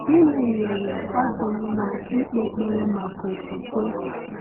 Gịnị mere ọ dị mma ịkpe ekpere maka okwukwe?